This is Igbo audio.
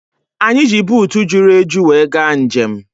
Anyị ji buutu juru eju were gaa njem